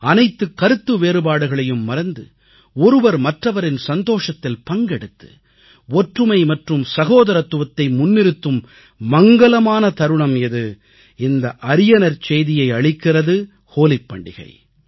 அனைத்து கருத்து வேறுபாடுகளையும் மறந்து ஒருவர் மற்றவரின் சந்தோஷத்தில் பங்கெடுத்து ஒற்றுமை மற்றும் சகோதரத்துவத்தை முன்னிறுத்தும் மங்கலமான தருணம் இது இந்த அரியநற் செய்தியை அளிக்கிறது ஹோலிப் பண்டிகை